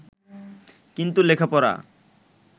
কিন্তু লেখাপড়া